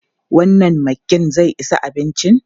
Wannan maggin zai isa abincin?